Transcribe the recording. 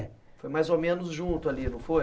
Foi mais ou menos junto ali, não foi?